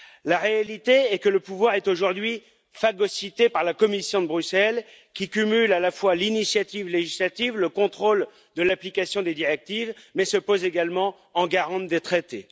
La réalité est que le pouvoir est aujourd'hui phagocyté par la Commission de Bruxelles, qui cumule à la fois l'initiative législative, le contrôle de l'application des directives, mais se pose également en garante des traités.